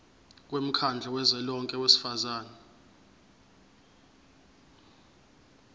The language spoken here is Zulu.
womkhandlu kazwelonke wezifundazwe